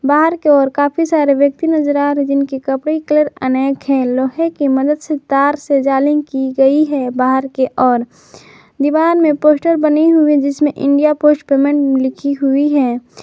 बाहर की ओर काफी सारे व्यक्ति नजर जिनकी कपड़े कलर अनेक है लोहे की मदद से तार से जालिम की गई है बाहर के ओर दीवार में पोस्टर बनी हुई जिसमें इंडिया पोस्ट पेमेंट लिखी हुई है।